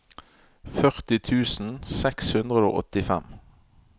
førti tusen seks hundre og åttifem